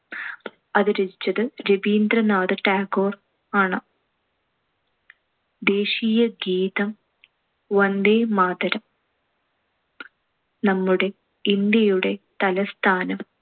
അത് രചിച്ചത് രബീന്ദ്രനാഥ ടാഗോർ ആണ്. ദേശീയ ഗീതം വന്ദേമാതരം. നമ്മുടെ ഇന്ത്യയുടെ തലസ്ഥാനം